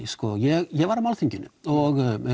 sko ég var á málþinginu og